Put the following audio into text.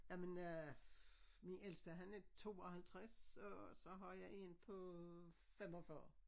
Ej men øh min ældste han er 52 og så har jeg en på 45